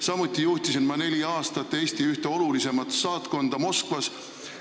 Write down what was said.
Samuti juhtisin ma neli aastat Eesti ühte olulisemat saatkonda Moskvas.